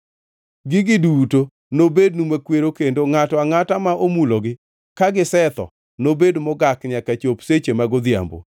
Gigi duto nobednu makwero kendo ngʼato angʼata ma omulogi ka gisetho nobed mogak nyaka chop seche mag odhiambo.